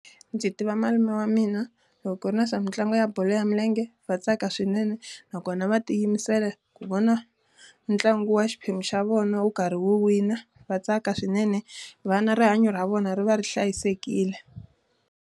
Ndzi tiva malume wa mina, loko ku ri na swa mitlangu ya bolo ya milenge va tsaka swinene. Nakona va tiyimisela ku vona ntlangu wa xiphemu xa vona wo karhi wina va tsaka swinene, na rihanyo ra vona ri va ri hlayisekile.